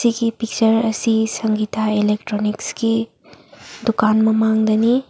ꯁꯤ ꯄꯤꯛꯆ꯭ꯔ ꯑꯁꯤ ꯁꯡꯒꯤꯇꯥ ꯑꯦꯂꯣꯊꯔꯣꯅꯤꯛꯁꯀꯤ ꯗꯨꯀꯥꯟ ꯃꯃꯡꯗꯅꯤ꯫